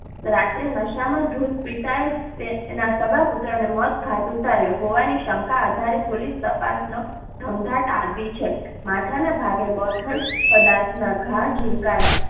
રાત્રે નશા માં ધૂત પિતાએ પુત્ર ને મોત ને ઘાટ ઉતાર્યો હોવા ની શંકા આધારે પોલીસ તપાસ નો ધમધમાટ માથા ના ભાગે બોથડ પદાર્થના ઘા ઝીંકાયા,